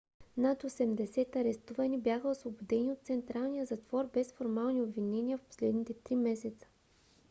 над 80 арестувани бяха освободени от централния затвор без формални обвинения в последните 3 месеца